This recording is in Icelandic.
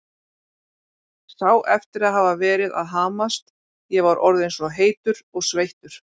Sá eftir að hafa verið að hamast, ég var orðinn svo heitur og sveittur.